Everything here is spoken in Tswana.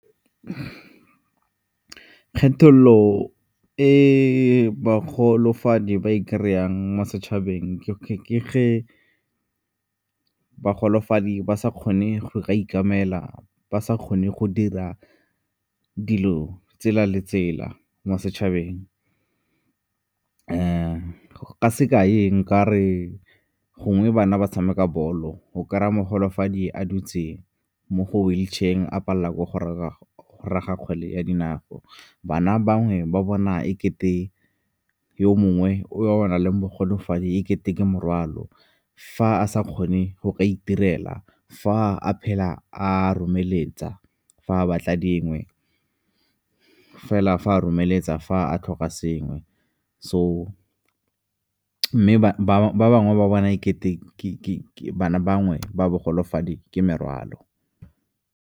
Kgethololo e bogolofadi ba e kry-ang mo setšhabeng ke ge bogolofadi ba sa kgone go ka ikemela, ba sa kgone go dira dilo tsela le tsela mo setšhabeng. Ka sekai, nka re gongwe bana ba tshameka bolo, o kry-a mogolofadi a dutse mo go wheelchair-eng a palela ke go raga kgwele ya dinao. Bana bangwe ba bona e kete yo mongwe o a nang le bogolofadi e ke teng ke morwalo, fa a sa kgone go ka itirela, fa a phela a lomeletsa fa a batla dingwe fela fa a lomeletsa fa a tlhoka sengwe. So mme ba bangwe ba bona ikete ke bana ba bangwe ba bogolofadi ke merwalo.